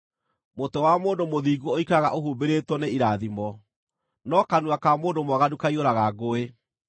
Mũtwe wa mũndũ mũthingu ũikaraga ũhumbĩrĩtwo nĩ irathimo, no kanua ka mũndũ mwaganu kaiyũraga ngũĩ.